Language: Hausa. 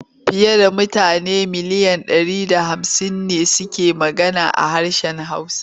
Fiye da mutane miliyan ɗari da hamsin ne suke magana ha harshen Hausa.